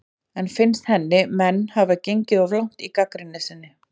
En finnst henni menn hafa gengið of langt í gagnrýni sinni?